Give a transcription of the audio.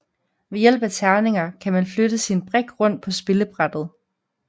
Ved hjælp af terninger kan man flytte sin brik rundt på spillebrættet